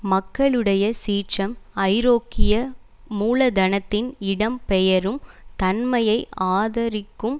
மக்களுடைய சீற்றம் ஐரோப்பிய மூலதனத்தின் இடம் பெயரும் தன்மையை ஆதரிக்கும்